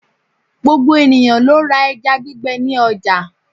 Gbogbo ènìyãn lo ra eja gbígbe ni ojà